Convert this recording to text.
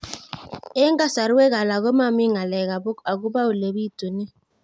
Eng' kasarwek alak ko mami ng'alek akopo ole pitunee